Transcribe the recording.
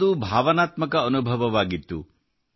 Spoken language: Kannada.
ಇದೊಂದು ಭಾವನಾತ್ಮಕ ಅನುಭವವಾಗಿತ್ತು